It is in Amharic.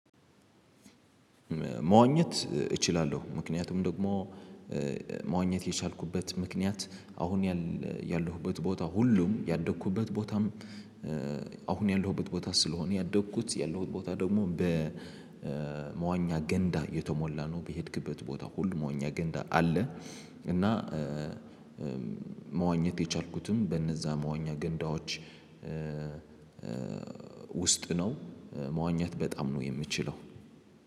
መዋኘት እችላለሁ ምክንያቱም ደግሞ መዋኘት የቻልኩበት ምክንያት አሁን ያለሁበት ቦታ ሁሉም ያደኩበት ቦታም አሁን ያለሁበት ቦታ ስለሆነ ያደግኩት ያለሁት ቦታ ደግሞ በመዋኛ ገንዳ የተሞላ ነው። በሄድክበት ቦታ ሁሉ መዋኛ ገንዳ አለ። እና መዋኘት የቻልኩትም በነዛ መዋኛ ገንዳዎች ውስጥ ነው። መዋኛት በጣም ነው የምችለው